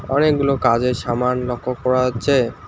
অনেকগুলো কাজের সামান লক্ষ করা যাচ্ছে।